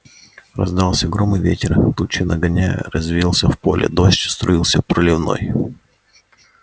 раздался гром и ветер тучи нагоняя резвился в поле дождь струился проливной